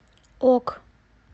ок